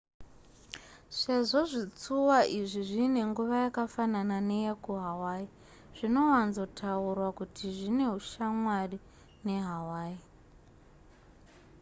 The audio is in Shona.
sezvo zvitsuwa izvi zviine nguva yakafanana neyekuhawaii zvinowanzotaurwa kuti zvine ushamwari nehawaii